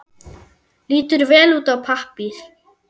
Lítur vel út á pappír.